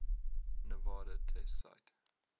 nevada test site